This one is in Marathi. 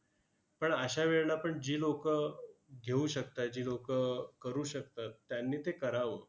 पण अश्या वेळेला पण जी लोकं घेऊ शकतात, जी लोकं करू शकतात, त्यांनी ते करावं.